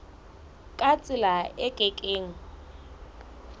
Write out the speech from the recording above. ka tsela e ke keng